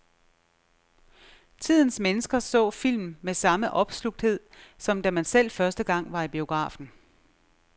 Tidens mennesker så film med samme opslugthed, som da man selv første gang var i biografen.